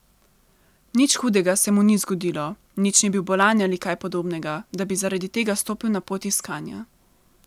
Nič hudega se mu ni zgodilo, nič ni bil bolan ali kaj podobnega, da bi zaradi tega stopil na pot iskanja.